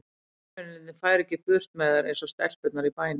Hermennirnir færu ekki burt með þær eins og stelpurnar í bænum.